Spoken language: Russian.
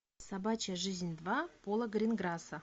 собачья жизнь два пола гринграсса